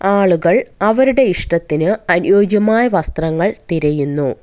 ആളുകൾ അവരുടെ ഇഷ്ടത്തിന് അനുയോജ്യമായ വസ്ത്രങ്ങൾ തിരയുന്നു.